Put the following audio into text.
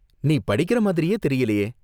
நீ படிக்கிற மாதிரியே தெரியலயே.